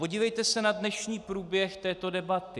Podívejte se na dnešní průběh této debaty.